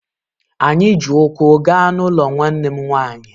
Anyị ji ụkwụ gaa n’ụlọ nwanne m nwanyị